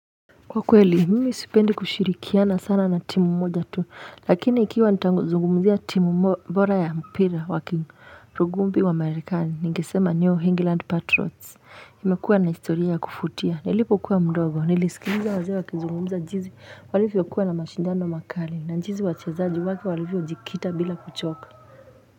Kwa kweli, mimi sipendi kushirikiana sana na timu moja tu, lakini ikiwa nitazungumuzia timu bora ya mpira waki rugubi wa Amerikani, ningesema New England Patriots, imekuwa na historia ya kuvutia, nilipokuwa mdogo, nilisikiliza wazee wakizungumza jinsi walivyokuwa na mashindano makali, na jinsi wachezaji wake walivyojikita bila kuchoka.